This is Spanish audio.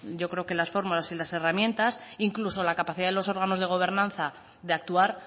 yo creo que las formas y las herramientas incluso la capacidad de los órganos de gobernanza de actuar